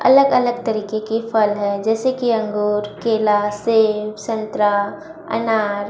अलग अलग तरीके की फल है जैसे कि अंगूर केला सेब संतरा अनार--